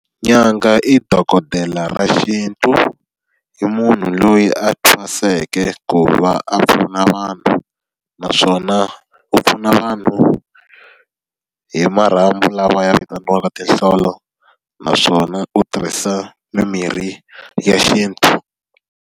Nyanga i dokodela ra xintu, i munhu loyi a thwaseke ku va a pfuna vanhu, naswona wu pfuna vanhu hi marhambu lawa ya vitaniwaka tinhlolo. Naswona u tirhisa mimirhi ya xintu.